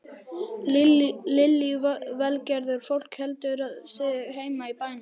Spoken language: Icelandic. Lillý Valgerður: Fólk heldur sig heima í bænum?